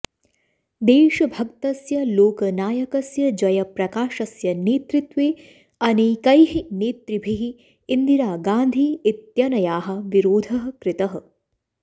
देशभक्तस्य लोकनायकस्य जयप्रकाशस्य नेतृत्वे अनेकैः नेतृभिः इन्दिरा गान्धी इत्यनयाः विरोधः कृतः